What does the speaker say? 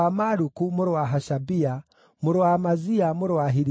mũrũ wa Hashabia, mũrũ wa Amazia, mũrũ wa Hilikia,